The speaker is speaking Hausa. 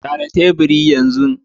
Share teburin yanzu!